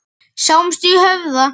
Sjáumst í Höfða.